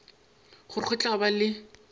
gore go tla ba le